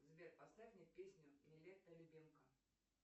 сбер поставь мне песню нилетто любимка